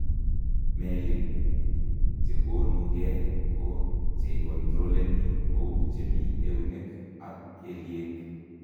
Meelik chekonukee ko cheicontroleni kouu chemii eunek ak kelyeek